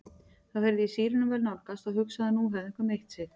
Þá heyrði ég sírenuvæl nálgast og hugsaði að nú hefði einhver meitt sig.